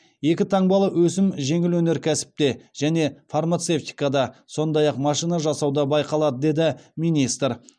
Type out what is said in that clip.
екі таңбалы өсім жеңіл өнеркәсіпте және фармацевтикада сондай ақ машина жасауда байқалады деді министр